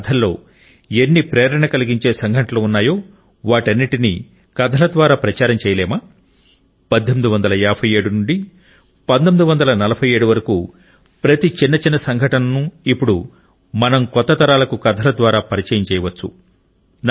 మన కథల్లో ఎన్ని ప్రేరణ కలిగించే సంఘటనలు ఉన్నాయో వాటన్నిటిని కథల ద్వారా ప్రచారమా చేయలేమా 1857 నుండి 1947 వరకు ప్రతి చిన్న చిన్న సంఘటన ను ఇపుడు మన కొత్త తరాలకు కథల ద్వారా పరిచయం చేయించవచ్చు